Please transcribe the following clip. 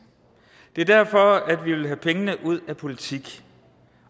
det er derfor vi vil have pengene ud af politik